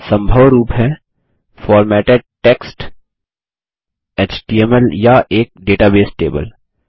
सम्भव रूप हैं फॉर्मेटेड टेक्स्ट एचटीएमएल या एक डेटाबेस टेबल